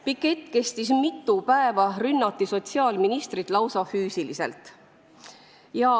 Pikett kestis mitu päeva, sotsiaalministrit rünnati lausa füüsiliselt.